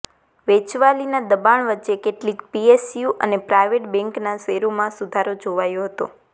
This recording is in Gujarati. વેચવાલીના દબાણ વચ્ચે કેટલીક પીએસયુ અને પ્રાઇવેટ બેન્કના શેરોમાં સુધારો જોવાયો હતો